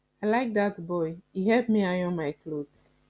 i like dat boy he help me iron my cloth